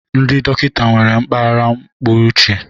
ndị dọkịta nwere mpaghara ọpụrụiche